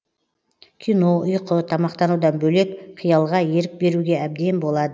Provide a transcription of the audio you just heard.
кино ұйқы тамақтанудан бөлек қиялға ерік беруге әбден болады